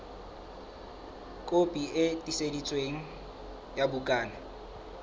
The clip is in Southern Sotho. kopi e tiiseditsweng ya bukana